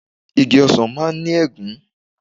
Igi Osan maa n ni egun